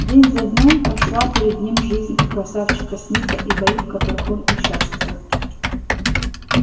день за днём прошла перед ним жизнь у красавчика смита и бои в которых он участвовал